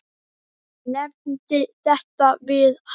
Ég nefndi þetta við hann.